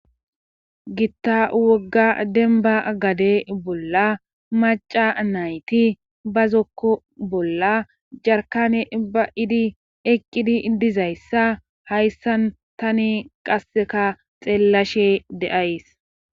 Gitta wogga deniba gade bolla maca nayiti bazoko bolla jaeikane ba'idi eqidi dizaysa hayisan tani qaseka xelashe de'ayis.